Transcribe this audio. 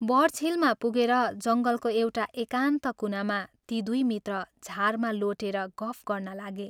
बर्चहिलमा पुगेर जङ्गलको एउटा एकान्त कुनामा ती दुइ मित्र झारमा लोटेर गफ गर्न लागे।